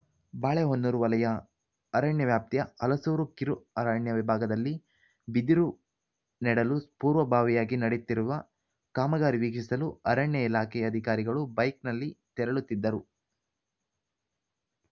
ಬಾಳೆಹೊನ್ನೂರು ವಲಯ ಅರಣ್ಯ ವ್ಯಾಪ್ತಿಯ ಹಲಸೂರು ಕಿರುಅರಣ್ಯ ವಿಭಾಗದಲ್ಲಿ ಬಿದಿರು ನೆಡಲು ಪೂರ್ವಭಾವಿಯಾಗಿ ನಡೆಯುತ್ತಿರುವ ಕಾಮಗಾರಿ ವೀಕ್ಷಿಸಲು ಅರಣ್ಯ ಇಲಾಖೆ ಅಧಿಕಾರಿಗಳು ಬೈಕ್‌ನಲ್ಲಿ ತೆರಳುತ್ತಿದ್ದರು